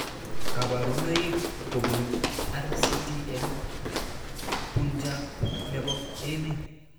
Kaparunoik kopun RCT eng'Punjab nepo emet